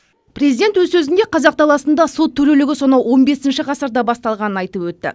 президент өз сөзінде қазақ даласында сот төрелігі сонау он бесінші ғасырда басталғанын айтып өтті